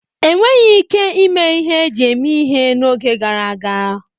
Enweghi ike ime ihe eji eme ihe n'oge gara aga.